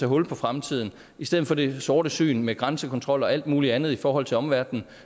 hul på fremtiden i stedet for det sortsyn med grænsekontrol og alt muligt andet i forhold til omverdenen